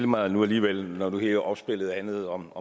mig nu alligevel når nu hele opspillet handlede om